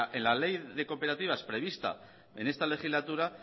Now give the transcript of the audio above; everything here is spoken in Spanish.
en la ley de cooperativas prevista en esta legislatura